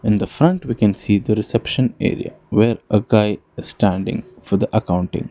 In the front we can see the reception area where a guy standing for the accounting.